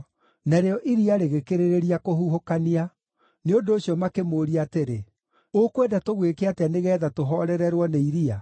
Narĩo iria rĩgĩkĩrĩrĩria kũhuhũkania. Nĩ ũndũ ũcio makĩmũũria atĩrĩ, “Ũkwenda tũgwĩke atĩa nĩgeetha tũhoorererwo nĩ iria?”